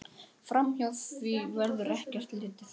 Framhjá því verður ekki litið.